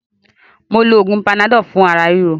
Mó lo oògùn panadọ́lù fún ara ríro.